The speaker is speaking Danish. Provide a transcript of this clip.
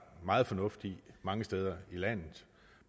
meget fornuft i mange steder i landet